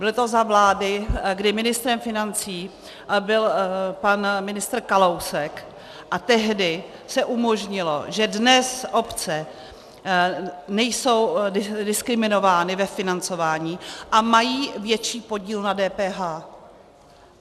Bylo to za vlády, kdy ministrem financí byl pan ministr Kalousek a tehdy se umožnilo, že dnes obce nejsou diskriminovány ve financování a mají větší podíl na DPH.